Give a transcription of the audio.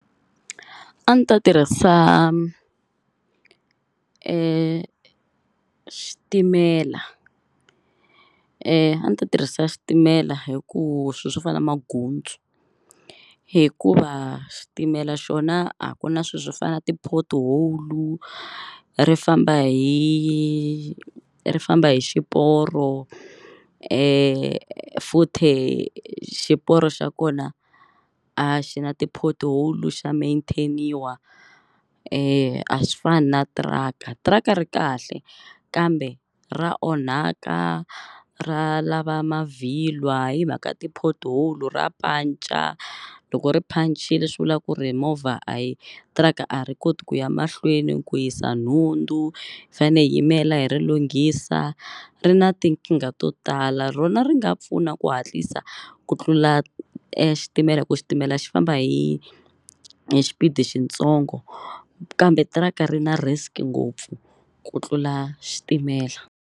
A ni ta tirhisa xitimela a ni ta tirhisa xitimela hi ku swi swo fana na mangutsu hikuva xitimela xona a ku na swi swo fana na ti-pothole ri famba hi ri famba hi xiporo futhe xiporo xa kona a xi na ti-pothole xa maintain-iwa a swi fani na tiraka tiraka ri kahle kambe ra onhaka ra lava mavhilwa himhaka ti-porthole ra punch-a loko ri phancile swivula ku ri movha a hi tiraka a ri koti ku ya mahlweni ku yisa nhundzu hi fane hi yimela hi ri lunghisa ri na tinkingha to tala rona ri nga pfuna ku hatlisa ku tlula xitimela hi ku xitimela xi famba hi hi xipidi xitsongo kambe tiraka ri na risk ngopfu ku tlula xitimela.